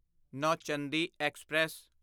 Nauchandi express